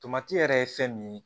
Tomati yɛrɛ ye fɛn min ye